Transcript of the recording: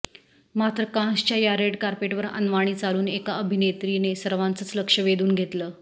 मात्र कान्सच्या या रेड कार्पेटवर अनवाणी चालून एका अभिनेत्रीने सर्वांचंच लक्ष वेधून घेतलं